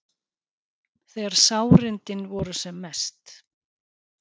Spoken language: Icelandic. Þegar sárindin voru sem mest.